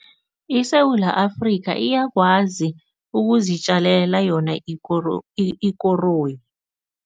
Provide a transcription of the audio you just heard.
ISewula Afrika iyakwazi ukuzitjalela yona ikoroyi.